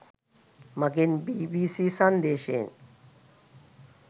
මගෙන් බීබීසී සංදේශයෙන්.